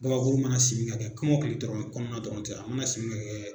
Gabakuru mana simin ka kɛ kɔmɔkili dɔrɔn kɔnɔna dɔrɔn tɛ a ma na simi ka kɛ.